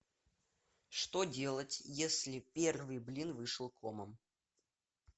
что делать если первый блин вышел комом